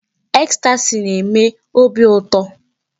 Ecstasy na-eme óbị ụtọ.